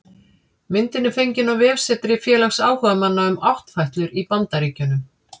Myndin er fengin á vefsetri félags áhugamanna um áttfætlur í Bandaríkjunum